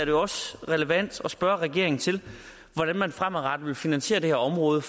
jo også relevant at spørge regeringen hvordan man fremadrettet vil finansiere det her område